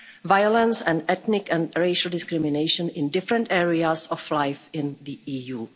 violence and ethnic and racial discrimination in different areas of life in the